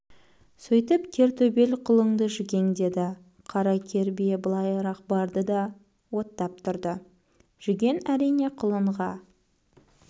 сөйтіп кер төбел құлыңды жүгеңдеді қара кер бие былайырақ барды да оттап тұрды жүген әрине құлынға